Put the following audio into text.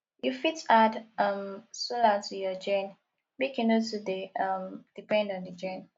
you fit add um solar to your gen make you no too dey um depend on di gen